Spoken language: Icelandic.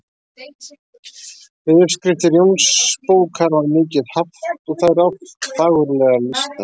Við uppskriftir Jónsbókar var mikið haft og þær oft fagurlega lýstar.